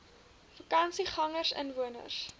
vakansiegangersinwoners